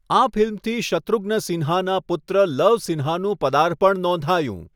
આ ફિલ્મથી શત્રુઘ્ન સિન્હાનાં પુત્ર લવ સિન્હાનું પદાર્પણ નોંધાયું.